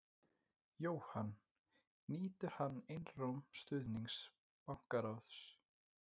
Jóhann: Nýtur hann einróma stuðnings bankaráðs?